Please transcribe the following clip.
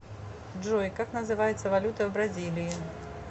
джой как называется валюта в бразилии